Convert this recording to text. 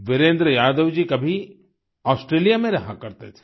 वीरेन्द्र यादव जी कभी ऑस्ट्रेलिया में रहा करते थे